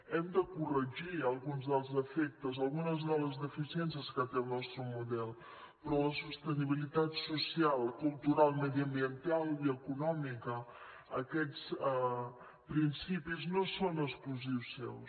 hem de corregir alguns dels defectes algunes de les deficiències que té el nostre model però la sostenibilitat social cultural mediambiental i econòmica aquests principis no són exclusius seus